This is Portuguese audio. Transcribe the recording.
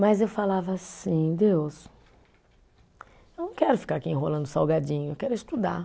Mas eu falava assim, Deus, eu não quero ficar aqui enrolando salgadinho, eu quero é estudar.